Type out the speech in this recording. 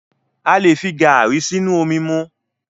A lè fi garri sínú omi mu.